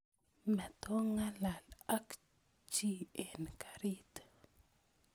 Matongalal ok chi en garit